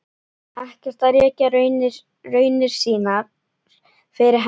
Ekkert að rekja raunir sínar fyrir henni.